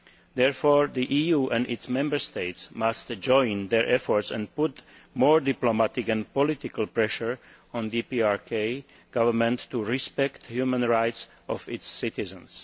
Therefore the EU and its Member States must combine their efforts and put more diplomatic and political pressure on the DPRK Government to respect the human rights of its citizens.